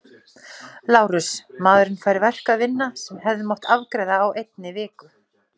LÁRUS: Maðurinn fær verk að vinna sem hefði mátt afgreiða á einni viku.